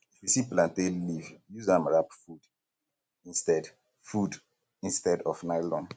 if you see plantain leaf use am wrap food instead food instead of nylon